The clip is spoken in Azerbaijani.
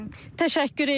Təşəkkür eləyirik.